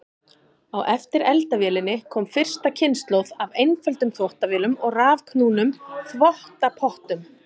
Á eftir eldavélinni kom fyrsta kynslóð af einföldum þvottavélum og rafknúnum þvottapottum.